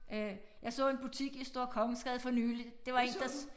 Øh jeg så en butik i Store Kongensgade for nylig det var én der